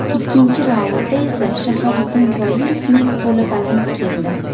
Ikkinchi raundda esa Shahobiddin Zoirovning qo‘li baland keldi.